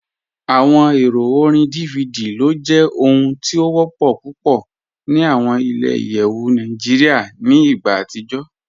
Awọn èrò orín DVD ló jẹ ohun tí o wọ́pọ̀ púpọ̀ ní awọn ilẹ̀-ìyẹwu Nàìjíríà ni igbà atijọ̀.